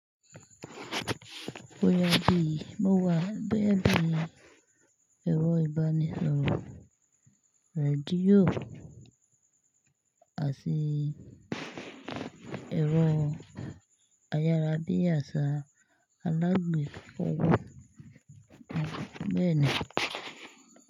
Boya bí mo wà boya bì ẹ̀rọ ìbánisọ̀rọ̀ rédíò àti ẹ̀rọ ayárabíàṣá alágbèfọ̀ beèn.